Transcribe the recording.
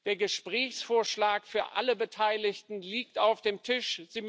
Der Gesprächsvorschlag für alle Beteiligten liegt auf dem Tisch.